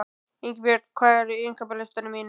Ingibjörn, hvað er á innkaupalistanum mínum?